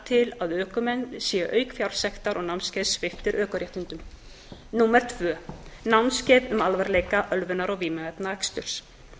til að ökumenn séu auk fjársektar og námskeiðs sviptir ökuréttindum önnur námskeið um alvarleika ölvunar og vímuefnaaksturs